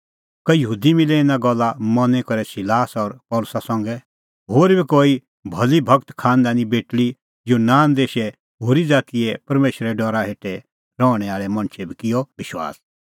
कई यहूदी मिलै इना गल्ला मनी करै सिलास और पल़सी संघै होर बी कई भली भगत खांनदानी बेटल़ी और यूनान देशे होरी ज़ातीए परमेशरे डरा हेठै रहणैं आल़ै मणछै बी किअ विश्वास